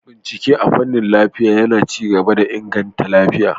Bincike a fanin lafiya yAna ci gaba da inganta lafiya